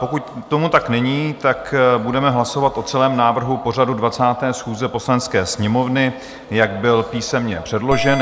Pokud tomu tak není, tak budeme hlasovat o celém návrhu pořadu 20. schůze Poslanecké sněmovny, jak byl písemně předložen.